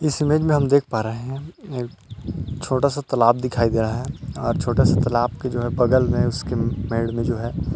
इस इमेज मे हम देख पा रहे है छोटा सा तालाब दिख रहा है और छोटा सा तालाब मे बगल मे उसके साइड मे जो हैं।